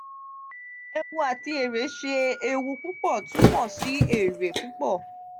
ewu ati ere ṣe eewu pupo tumọ si ere pupo?